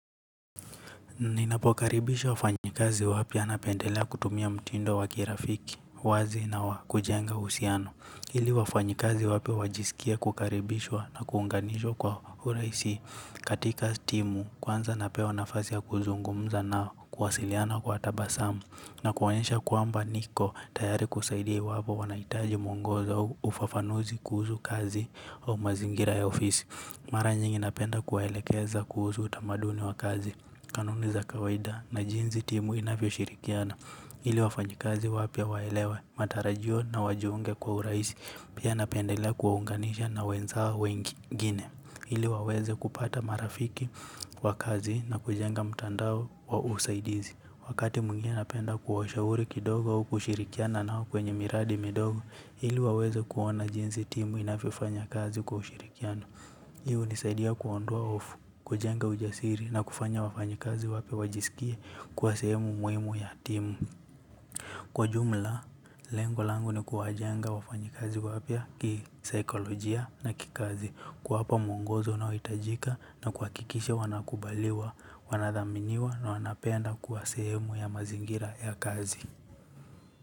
Ninapokaribisha wafanyikazi wapya napendelea kutumia mtindo wa kirafiki, wazi na wa kujenga uhusiano. Ili wafanyikazi wapya wajisikie kukaribishwa na kuunganishwa kwa urahisi. Katika timu, kwanza napewa nafasi ya kuzungumza nao, kuwasiliana kwa tabasamu. Na kuwaonyesha kwamba niko tayari kusaidia iwapo wanahitaji mwongozo au ufafanuzi kuhusu kazi au mazingira ya ofisi. Mara nyingi napenda kuwaelekeza kuhusu utamaduni wa kazi. Kanuni za kawaida na jinsi timu inavyoshirikiana. Ili wafanyikazi wapya waelewe, matarajio na wajiunge kwa urahisi, pia napendelea kuwaunganisha na wenzao wengine. Ili waweze kupata marafiki wa kazi na kujenga mtandao wa usaidizi. Wakati mwingine napenda kuwashauri kidogo au kushirikiana nao kwenye miradi midogo, ili waweze kuona jinsi timu inavyofanya kazi kwa ushirikiano. Hii hunisaidia kuondoa hofu, kujenga ujasiri na kufanya wafanyikazi wapya wajisikie kuwa sehemu muhimu ya timu. Kwa jumla, lengo langu ni kuwajenga wafanyikazi wapya kisaikolojia na kikazi. Kuwapa mwongozo unaohitajika na kuhakikisha wanakubaliwa, wanathaminiwa na wanapenda kuwa sehemu ya mazingira ya kazi.